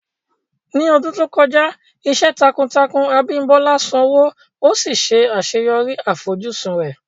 Ní ọdún tó kọjá, iṣẹ́ takuntakun Abimbola sanwó, ó sì ṣe àṣeyọrí àfojúsùn rẹ̀.